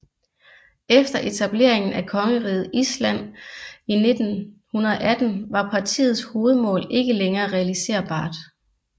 Efter etableringen af Kongeriget Island i 1918 var partiets hovedmål ikke længere realiserbart